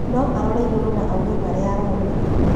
No arore igũrũ na auge marĩa aroona